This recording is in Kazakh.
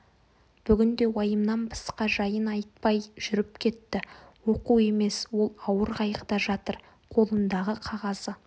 бүгін де уайымнан басқа жайын айтпай жүріп кетті оқу емес ол ауыр қайғыда жатыр қолындағы қағазы